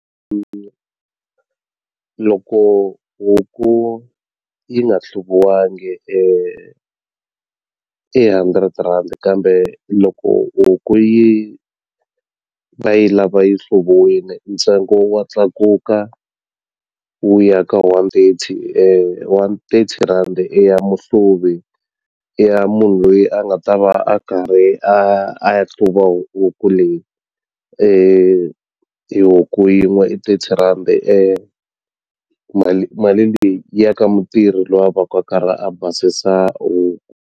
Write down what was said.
loko huku yi nga hluviwangi i hundred rand kambe loko huku yi va yi lava yi hluviwile ntsengo wa tlakuka wu ya ka one thirty one thirty rhandi i ya muhluvi i ya munhu loyi a nga ta va a karhi a a ya hluva huku leyi i huku yin'we i thirty rhandi mali mali leyi yi ya ka mutirhi loyi a vaku a karhi a basisa huku.